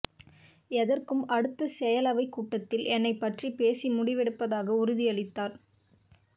எதற்கும் அடுத்த செயலவைக் கூட்டத்தில் என்னைப் பற்றிப் பேசி முடிவெடுப்பதாக உறுதியளித்தார்